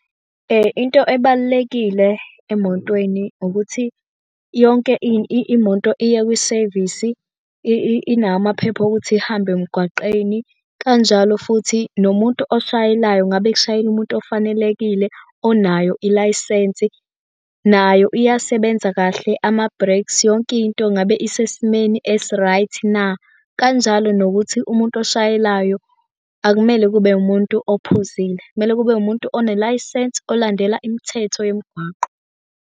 Into ebalulekile emotweni ukuthi yonke imoto iya kwisevisi inawo amaphepha okuthi ihambe emgwaqeni kanjalo futhi nomuntu oshayelayo ngabe kushayela umuntu ofanelekile onayo ilayisensi. Nayo iyasebenza kahle ama-brakes yonke into ngabe isesimeni esi-right na? Kanjalo nokuthi umuntu oshayelayo akumele kube umuntu ophuzile. Kumele kube umuntu onelayisensi olandela imithetho yomgwaqo.